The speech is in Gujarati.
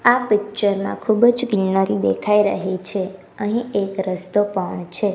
આ પીકચર માં ખુબજ ગ્રીનરી દેખાય રહી છે અહીં એક રસ્તો પણ છે.